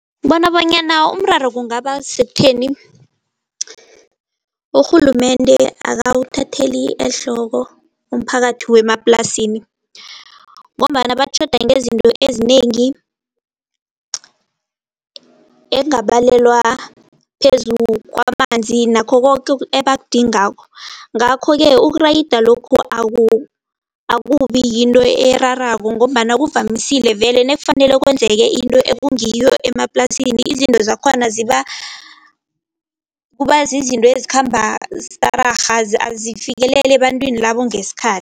Bona bonyana umraro kungaba sekutheni. Urhulumende akawuthatheli ehloko umphakathi wemaplasini ngombana batjhoda ngezinto ezinengi. Ekungabalelwa phezu kwamanzi nakho koke ebakudingako ngakho-ke, ukuriyada lokhu akubi yinto erarako ngombana kuvamisile vele nakufanele kwenzeke into ekungiyo emaplasini izinto zakhona ziba, kuba zizinto ezikhamba stararha azifikeleli ebantwini labo ngesikhathi.